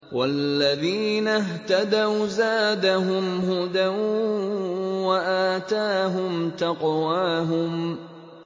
وَالَّذِينَ اهْتَدَوْا زَادَهُمْ هُدًى وَآتَاهُمْ تَقْوَاهُمْ